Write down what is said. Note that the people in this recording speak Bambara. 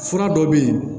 Fura dɔ bɛ yen